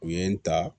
U ye n ta